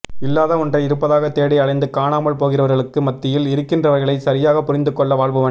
இல்லாத ஒன்றை இருப்பதாக தேடி அலைந்து காணாமல் போகிறவர்களுக்கு மத்தியில் இருக்கின்றவைகளை சரியாக புரிந்து கொள்ள வாழ்பவன்